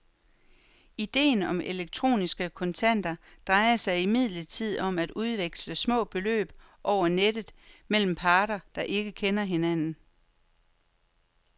Idéen om elektroniske kontanter drejer sig imidlertid om at udveksle små beløb over nettet mellem parter, der ikke kender hinanden.